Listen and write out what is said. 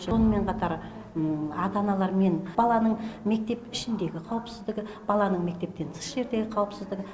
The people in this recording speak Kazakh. сонымен қатар ата аналар мен баланың мектеп ішіндегі қауіпсіздігі баланың мектептен тыс жердегі қауіпсіздігі